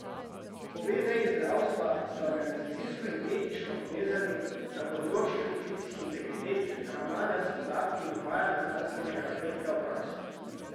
Obe veji zdravstva sta organizacijsko in etično povezani na področjih poklicnih integritet, ravnanja s podatki in uvajanja znanstvenega napredka v prakso.